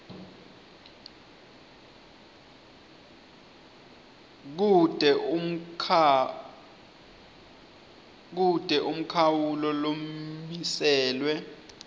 kute umkhawulo lomiselwe